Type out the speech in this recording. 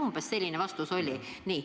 Umbes selline vastus oli teil.